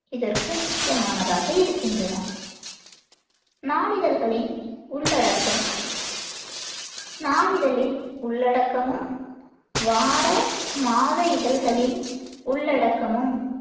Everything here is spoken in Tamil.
இதற்கு முக்கியமானதாக இருக்கின்றன நாளிதழ்களின் உள்ளடக்கம் நாளிதழின் உள்ளடக்கமும், வார, மாத இதழ்களின் உள்ளடக்கமும்